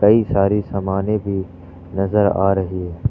कई सारी सामाने भी नजर आ रही है।